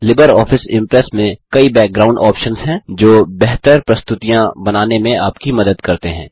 Libre office Impress में कई background options हैं जो बेहतर प्रस्तुतियाँ बनाने में आपकी मदद करते हैं